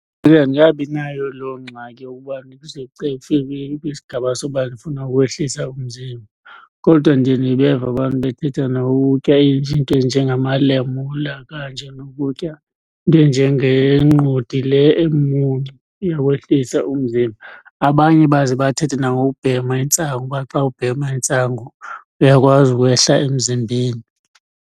andikabinayo loo ngxaki yokuba ndize kufike kwisigaba sokuba ndifuna ukwehlisa umzimba. Kodwa ndiye ndibeve abantu bethetha nangokutya izinto ezinjengamalamula kanje nokutya into enjengenqodi le emuncu, iyawehlisa umzimba. Abanye baze bathethe nangokubhema intsangu, uba xa ubhema intsangu uyakwazi ukwehla emzimbeni.